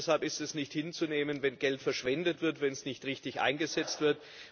Deshalb ist es nicht hinzunehmen, wenn Geld verschwendet wird, wenn es nicht richtig eingesetzt wird.